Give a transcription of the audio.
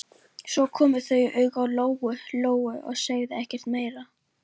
Svo komu þau auga á Lóu-Lóu og sögðu ekkert meira.